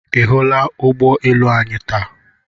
Ị hụla ụgbọ elu anyị taa?